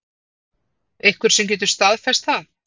Einhver sem getur staðfest það?